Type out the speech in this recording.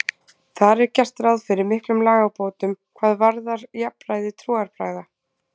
Þar er gert ráð fyrir miklum lagabótum hvað varðar jafnræði trúarbragða.